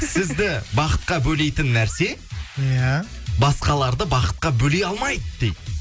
сізді бақытқа бөлейтін нәрсе иә басқаларды бақытқа бөлей алмайды дейді